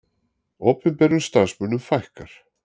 Opinberum starfsmönnum fækkar